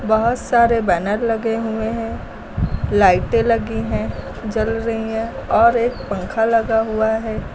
बहुत सारे बैनर लगे हुए हैं लाइटें लगी हैं जल रही हैं और एक पंखा लगा हुआ है।